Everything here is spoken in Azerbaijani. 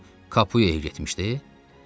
O Kapuya getmişdi?